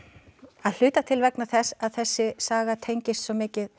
að hluta til vegna þess að þessi saga tengist svo mikið